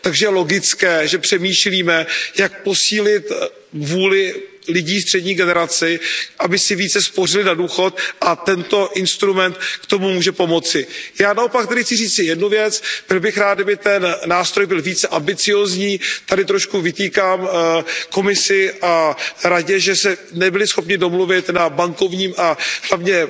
Takže je logické, že přemýšlíme, jak posílit vůli lidí střední generace, aby si více spořili na důchod, a tento instrument k tomu může pomoci. Já naopak tedy chci říci jednu věc, byl bych rád, kdyby ten nástroj byl více ambiciózní. Tady trochu vytýkám Komisi a Radě, že se nebyly schopny domluvit na bankovním a hlavně